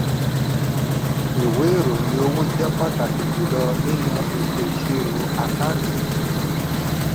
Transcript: ìwé ìròyìn owó jẹ́ pàtàkì jùlọ nínú ètò ìṣírò àkáǹtì.